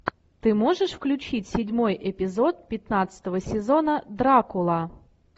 ты можешь включить седьмой эпизод пятнадцатого сезона дракула